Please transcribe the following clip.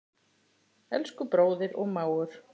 Elsku bróðir og mágur.